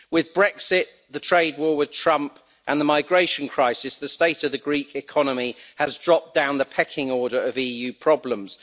With Brexit, the trade war with Trump and the migration crisis, the state of the Greek economy has dropped down the pecking order of EU problems.